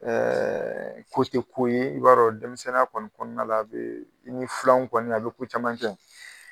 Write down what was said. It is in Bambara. ko te ko ye i b'a dɔ denmisɛnninya kɔni kɔɔna la a' bee i n'i filanw kɔni l'a' be ko caman kɛ